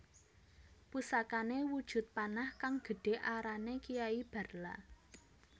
Pusakane wujud panah kang gedhe arane Kiai Barla